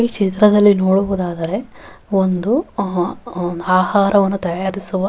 ಈ ಚಿತ್ರದಲ್ಲಿ ನೋಡಬಹುದಾದರೆ ಒಂದು ಆಹಾರವನ್ನು ತಯಾರಿಸುವ --